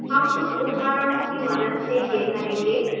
हम कुछ उदाहरणों की मदद से यह करेंगे